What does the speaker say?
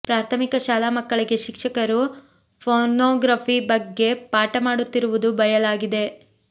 ಪ್ರಾಥಮಿಕ ಶಾಲಾ ಮಕ್ಕಳಿಗೆ ಶಿಕ್ಷಕರು ಪೋರ್ನೋಗ್ರಫಿ ಬಗ್ಗೆ ಪಾಠ ಮಾಡುತ್ತಿರುವುದು ಬಯಲಾಗಿದೆ